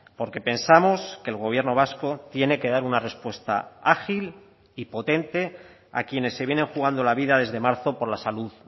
porque pensamos que el gobierno vasco tiene que dar una respuesta ágil y potente a quienes se vienen jugando la vida desde marzo por la salud